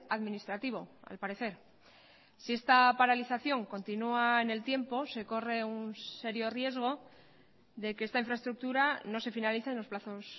administrativo al parecer si esta paralización continúa en el tiempo se corre un serio riesgo de que esta infraestructura no se finalice en los plazos